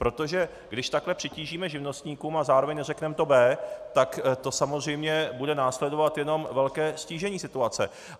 Protože když takhle přitížíme živnostníkům a zároveň neřekneme to B, tak to samozřejmě bude následovat jenom velké ztížení situace.